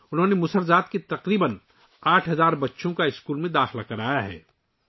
انہوں نے مسہر ذات کے تقریباً 8 ہزار بچوں کو اسکول میں داخل کرایا ہے